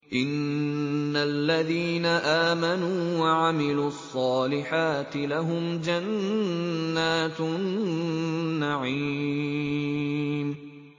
إِنَّ الَّذِينَ آمَنُوا وَعَمِلُوا الصَّالِحَاتِ لَهُمْ جَنَّاتُ النَّعِيمِ